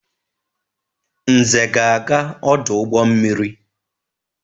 Nze ga-aga ọdụ ụgbọ mmiri.